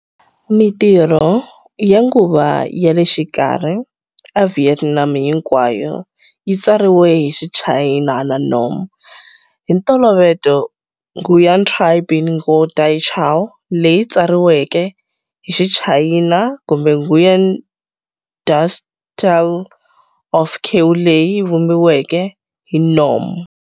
Mintirho ya nguva ya le xikarhi eVietnam hinkwayo yi tsariwe hi Xichayina na Nom, hi ntolovelo Nguyen Trai's Binh Ngo Dai Cao leyi tsariweke hi Xichayina kumbe Nguyen Du 's Tale of Kieu leyi vumbiweke hi Nom.